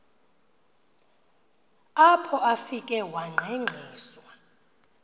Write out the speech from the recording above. apho afike wangqengqiswa